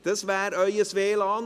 Dies ist Ihr WLAN.